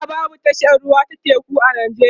a da babu tashar ruwa ta teku a nijeriya